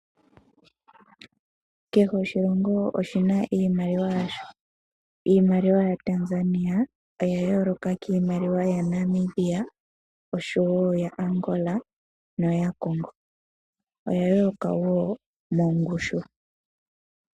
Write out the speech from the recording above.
Kehe oshilongo oshina iimaliwa yasho. Iimaliwa yaTanzania oya yooloka kiimaliwa yaNamibia osho woo yaAngola noyaCongo, oya yooloka wo mongushu.